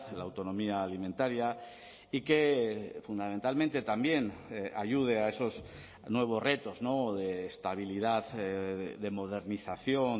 la autonomía alimentaria y que fundamentalmente también ayude a esos nuevos retos de estabilidad de modernización